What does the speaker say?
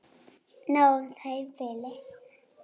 Nóg um það í bili.